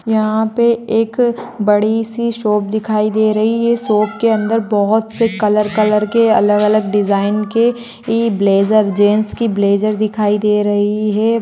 यहाँ पे एक बहुत बड़ी-सी शॉप दिखाई दे रही है। शॉप के अंदर बहुत से कलर-कलर के अलग-अलग डिजाइन के ब्लेजर जैंट्स के इ ब्लेजर दिखाई दे रहै हैं।